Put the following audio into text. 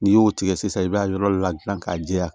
N'i y'o tigɛ sisan i b'a yɔrɔ ladilan k'a jɛya